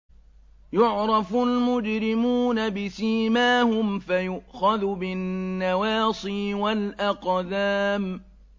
يُعْرَفُ الْمُجْرِمُونَ بِسِيمَاهُمْ فَيُؤْخَذُ بِالنَّوَاصِي وَالْأَقْدَامِ